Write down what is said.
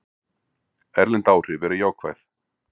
Erlend áhrif eru jákvæð.